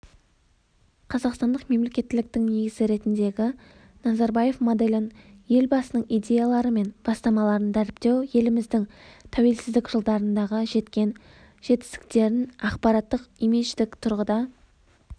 қазақстандық мемлекеттіліктің негізі ретіндегі назарбаев моделін елбасыныңидеялары мен бастамаларын дәріптеу еліміздің тәуелсіздік жылдарындағы жеткен жетістіктерінақпараттық-имидждік тұрғыда